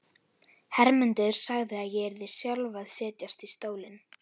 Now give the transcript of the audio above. Hermundur sagði að ég yrði sjálf að setjast í stólinn.